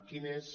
quin és